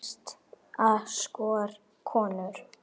Besta skor, konur